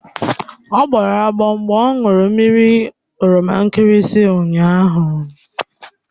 Ọ gbọrọ agbọ mgbe ọ ṅụrụ mmiri epe nkirisi ụnyaahụ.